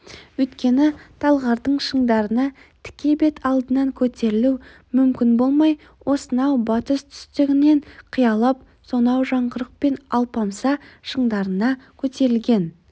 өйткені талғардың шыңдарына тіке бет алдынан көтерілу мүмкін болмай осынау батыс-түстігінен қиялап сонау жаңғырық пен алпамса шыңдарына көтерілген